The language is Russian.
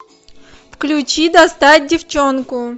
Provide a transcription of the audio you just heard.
включи достать девчонку